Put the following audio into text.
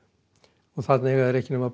þarna eiga þeir ekki nema